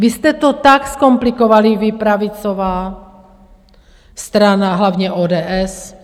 Vy jste to tak zkomplikovali, vy, pravicová strana, hlavně ODS.